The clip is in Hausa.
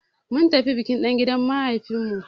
Mun tafi biki dangin mahaifin mu.